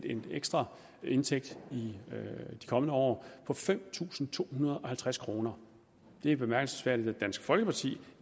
en ekstra indtægt i de kommende år på fem tusind to hundrede og halvtreds kroner det er bemærkelsesværdigt at dansk folkeparti